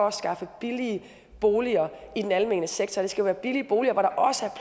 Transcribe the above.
at skaffe billige boliger i den almene sektor det skal være billige boliger hvor der også er